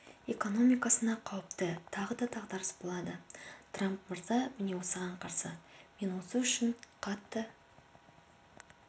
экономикасына қауіпті тағы да дағдарыс болады трамп мырза міне осыған қарсы мен осы үшін қатты